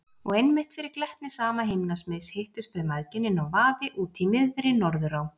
Og einmitt fyrir glettni sama himnasmiðs hittust þau mæðginin á vaði úti í miðri Norðurá.